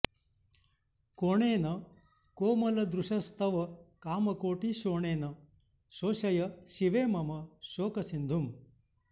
कोणेन कोमलदृशस्तव कामकोटि शोणेन शोषय शिवे मम शोकसिन्धुम्